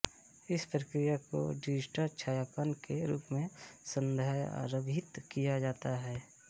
इस प्रक्रिया को डिजिटल छायांकन के रूप में संदर्भित किया जाता है